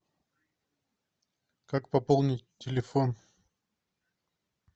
как пополнить телефон